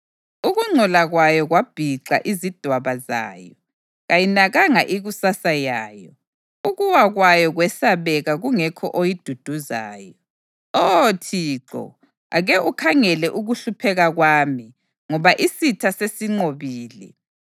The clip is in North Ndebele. Ukungcola kwayo kwabhixa izidwaba zayo; kayinakanga ikusasa yayo. Ukuwa kwayo kwesabeka, kungekho oyiduduzayo. “Oh Thixo, ake ukhangele ukuhlupheka kwami, ngoba isitha sesinqobile.”